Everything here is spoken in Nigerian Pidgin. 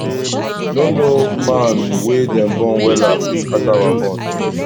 no no man wey dem born wella fit scatter our bond